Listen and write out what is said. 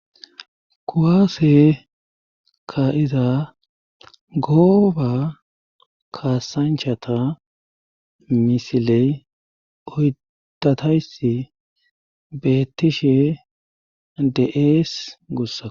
kuwaase ka iza gooba kasanchata misiley oydatayssi bettishe de7ees gussa